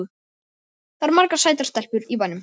Það eru margar sætar stelpur í bænum.